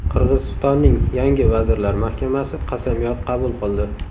Qirg‘izistonning yangi Vazirlar mahkamasi qasamyod qabul qildi.